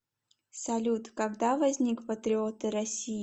салют когда возник патриоты россии